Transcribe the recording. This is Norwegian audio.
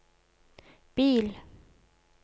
bil